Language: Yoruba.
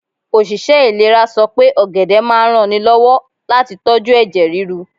Òṣìṣẹ́ ìlera sọ pé ọ̀gẹ̀dẹ̀ máa ń ranni lọ́wọ́ láti tóju ẹ̀jẹ̀ ríru.